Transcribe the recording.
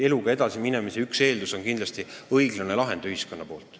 Eluga edasiminemise üks eeldusi on kindlasti õiglane lahend ühiskonna poolt.